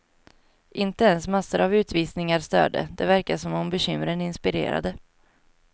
Inte ens massor av utvisningar störde, det verkade som om bekymren inspirerade.